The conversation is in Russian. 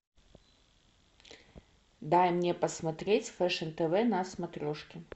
дай мне посмотреть фэшн тв на смотрешке